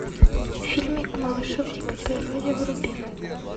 фильмик малыши в дикой природе вруби